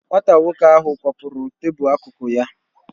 Nwata nwoko ahu kwapuru tabul akụkụ ya